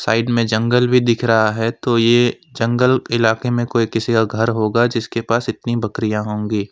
Side में जंगल भी दिख रहा है तो ये जंगल इलाके में कोई किसी का घर होगा जिसके पास इतनी बकरियां होगी।